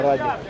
Ukraynaya!